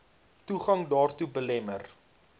toegang daartoe belemmer